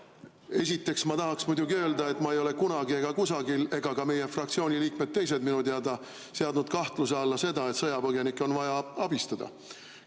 Esiteks, ma tahaksin muidugi öelda, et ma ei ole kunagi ega kusagil ega ka meie fraktsiooni teised liikmed ei ole minu teada seadnud kahtluse alla seda, et sõjapõgenikke on vaja abistada.